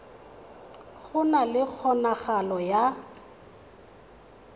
go na le kgonagalo ya